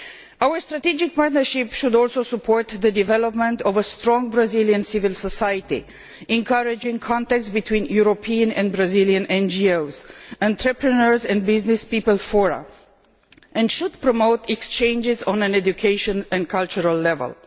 Our strategic partnership should also support the development of a strong Brazilian civil society, encouraging contacts between European and Brazilian NGOs, entrepreneurs and businesspeople fora, and should promote exchanges on an educational and cultural level.